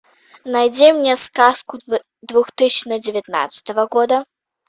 найди мне сказку две тысячи девятнадцатого года